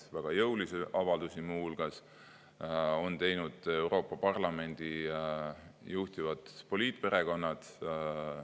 Ja väga jõulisi avaldusi on muu hulgas teinud Euroopa Parlamendi juhtivad poliitperekonnad.